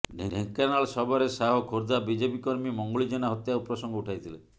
ଢେଙ୍କାନାଳ ସଭାରେ ଶାହ ଖୋର୍ଦ୍ଧା ବିଜେପି କର୍ମୀ ମଙ୍ଗୁଳି ଜେନା ହତ୍ୟା ପ୍ରସଙ୍ଗ ଉଠାଇଥିଲେ